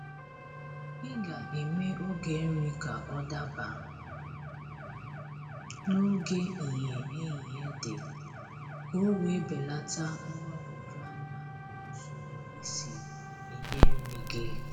ịga eme oge nri ka ọ daba n'oge ìhè ehihie dị, k'owe belata mgbagwoju anya na usoro isi enye nri gị.